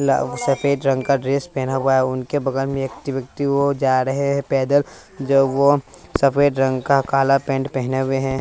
ल सफेद रंग का ड्रेस पहना हुआ है उनके बगल में एक चिपकते वो जा रहे हैं पैदल जो वह सफेद रंग का काला पैंट पहने हुए हैं।